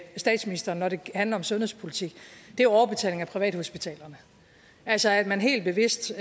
statsministeren når det handler om sundhedspolitik er overbetaling af privathospitalerne altså at man helt bevidst